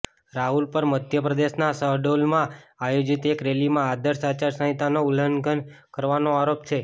રાહુલ પર મધ્ય પ્રદેશના શહડોલમાં આયોજિત એક રેલીમાં આદર્શ આચાર સંહિતાના ઉલ્લંઘન કરવાનો આરોપ છે